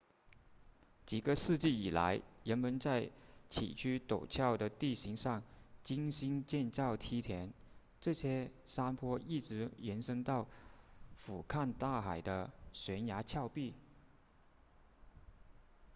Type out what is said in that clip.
几个世纪以来人们在崎岖陡峭的地形上精心建造梯田这些山坡一直延伸到俯瞰大海的悬崖峭壁